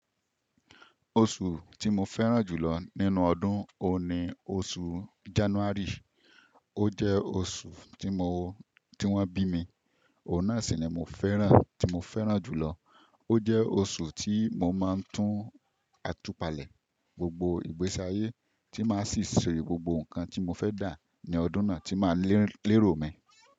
Oṣù tí mo fẹ́ràn jùlọ nínú ọdún òun ni oṣù January. Ó jẹ́ oṣù tí mo, tí wọ́n bí mi, òun náà sì ni mo fẹ́ràn, tí mo fẹ́ràn jùlọ. Ó jẹ́ oṣù tí mo máa ń tún àtùpàlẹ̀ gbogbo ìgbésáyé tí máa sì ṣe gbogbo nǹkan tí mo fẹ́ dà ní ọdún náà tí máa lérò mi.